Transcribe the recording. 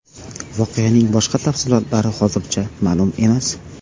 Voqeaning boshqa tafsilotlari hozircha ma’lum emas.